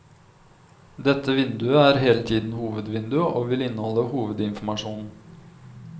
Dette vinduet er hele tiden hovedvinduet, og vil inneholde hovedinformasjonen.